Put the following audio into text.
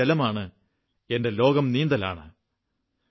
എന്റെ ആയുധം എന്റെ ശരീരമാണ് എന്റെ ഘടകം ജലമാണ് എന്റെ ലോകം നീന്തലാണ്